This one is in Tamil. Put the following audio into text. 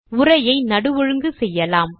உரையை நடு ஒழுங்கு செய்யலாம்